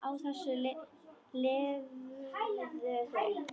Á þessu lifðu þau.